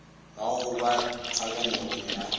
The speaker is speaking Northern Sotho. ga go ba kgakanegong ga